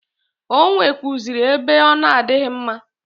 O nwekwuazịrị ebe ọ na-adịghị mma.